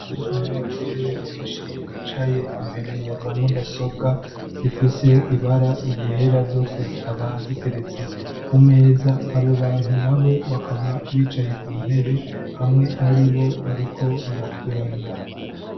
n'abagore benshi bicaye imbere ya za mudasobwa zifise ibara ryera yose zikaba ziteretse ku meza abo bantu na bo bakaba bicaye ku ntebe bamwe muri bo bariko baratwenga